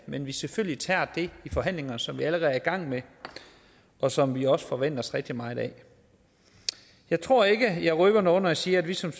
men vi selvfølgelig tager det i forhandlingerne som vi allerede er i gang med og som vi også forventer os rigtig meget af jeg tror ikke jeg røber noget når jeg siger at vi som